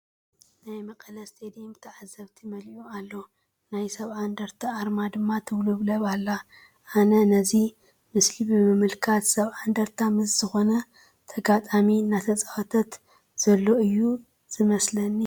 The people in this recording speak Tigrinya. ናይ መቐለ ስቴድየም ብተዓዘብቲ መሊኡ ኣሎ፡፡ ናይ ሰብዓ እንድርታ ኣርማ ድማ ትውልብለብ ኣላ፡፡ ኣነ ነዚ ምስሊ ብምምልካት ሰብዓ እንድርታ ምስ ዝኾነ ተጋጣሚ እናተፃወተ ዘሎ እዩ ዝይመስለኒ፡፡